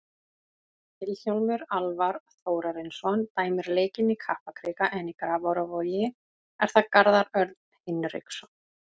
Vilhjálmur Alvar Þórarinsson dæmir leikinn í Kaplakrika en í Grafarvogi er það Garðar Örn Hinriksson.